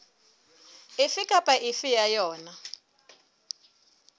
efe kapa efe ya yona